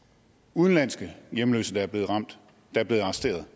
udenlandske hjemløse der er blevet ramt der er blevet arresteret